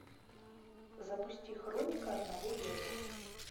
запусти хроника одного лета